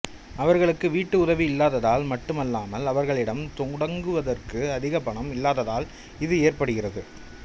அவர்களுக்கு வீட்டு உதவி இல்லாததால் மட்டுமல்லாமல் அவர்களிடம் தொடங்குவதற்கு அதிக பணம் இல்லாததால் இது ஏற்படுகிறது